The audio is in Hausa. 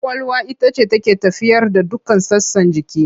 Ƙwaƙwalwa ita ce take tafiyar da dukkan sassan jiki.